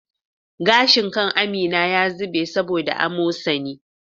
Gashin kan Amin ya zube saboda amosani